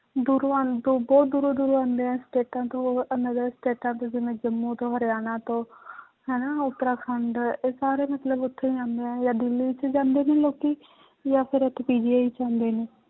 ਦੂਰੋਂ ਆਉਣ ਤੋਂ ਬਹੁਤ ਦੂਰੋਂ ਦੂਰੋਂ ਆਉਂਦੇ ਹੈ ਸਟੇਟਾਂ ਤੋਂ ਅਹ another ਸਟੇਟਾਂ ਤੋਂ ਜਿਵੇਂ ਜੰਮੂ ਤੋਂ ਹਰਿਆਣਾ ਤੋਂ ਹਨਾ ਉਤਰਾਖੰਡ ਇਹ ਸਾਰੇ ਮਤਲਬ ਉੱਥੇ ਜਾਂਦੇ ਹੈ ਜਾਂ ਦਿੱਲੀ 'ਚ ਜਾਂਦੇ ਨੇ ਲੋਕੀ ਜਾਂ ਫਿਰ ਇੱਥੇ PGI 'ਚ ਆਉਂਦੇ ਨੇ